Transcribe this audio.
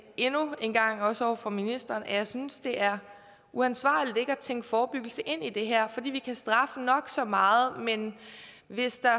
endnu en gang også over for ministeren at jeg synes det er uansvarligt ikke at tænke forebyggelse ind i det her vi kan straffe nok så meget men hvis der